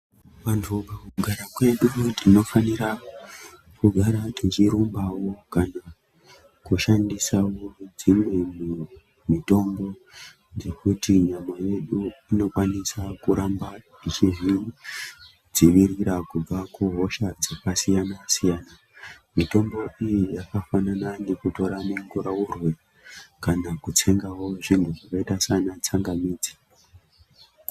Vantu mukugara kwedu tinofanira kugara tichirumbawo kana kushandisawo dzimweni mitombo dzekuti nyama yedu inokwanisa kuramba ichizvidzivirira kubva kuhosha dzakasiyana siyana. Mitombo iyi yakafanana nekutora mungurauroyi kana kutsengawo zvinhu zvakaita sana tsangamidzi.